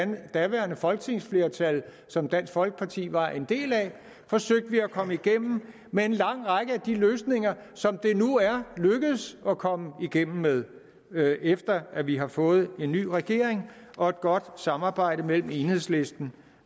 det daværende folketingsflertal som dansk folkeparti var en del af at komme igennem med en lang række af de løsninger som det nu er lykkedes at komme igennem med efter at vi har fået en ny regering og et godt samarbejde mellem enhedslisten